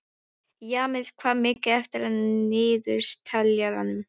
Jamil, hvað er mikið eftir af niðurteljaranum?